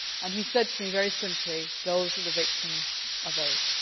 He said to me very simply those are the victims of AIDS.